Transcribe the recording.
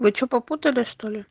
вы что попутали что ли